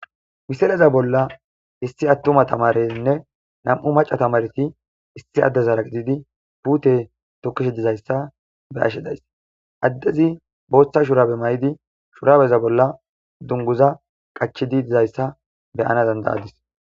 Misileza bolla issi attuma na tamareyinne nam'u maca na tamarey issi adezara gididi putte togizaysa beyashe dayis adezi botha shurabe mayidi dungiza qachidi de'izaysa beyana dandayadis